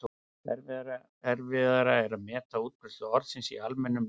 Erfiðara er að meta útbreiðslu orðsins í almennu mæltu máli.